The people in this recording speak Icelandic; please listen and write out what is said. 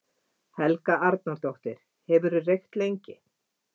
Helga Arnardóttir: Hefurðu reykt lengi?